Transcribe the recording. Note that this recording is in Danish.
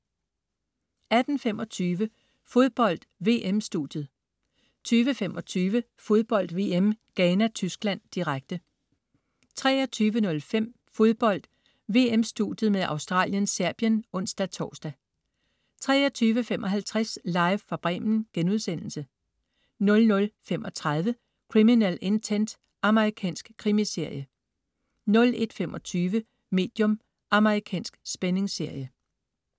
18.25 Fodbold: VM-studiet 20.25 Fodbold VM: Ghana-Tyskland, direkte 23.05 Fodbold: VM-studiet med Australien-Serbien (ons-tors) 23.55 Live fra Bremen* 00.35 Criminal Intent. Amerikansk krimiserie 01.25 Medium. Amerikansk spændingsserie